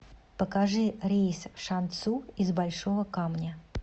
покажи рейс в шанцю из большого камня